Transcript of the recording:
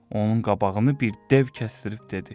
Onun qabağını bir dev kəsdirib dedi.